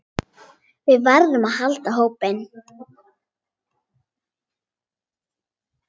Við verðum að halda hópinn!